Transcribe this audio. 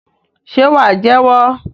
Ṣe wà jẹ́wọ́?